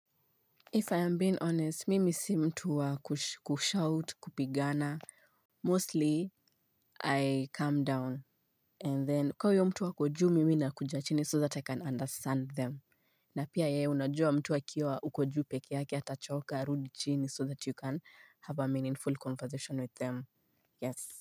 If I am being honest, mimi si mtuwa kushout, kupigana. Mostly, I calm down. And then, kamahuyo mtu akojuu, mimi na kujachini so that I can understand them. Na pia yeye, unajua mtu akiwa hukojuu pekeyake, ata choka, arudichini so that you can have a meaningful conversation with them. Yes.